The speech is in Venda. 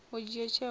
u dzhia tsheo a na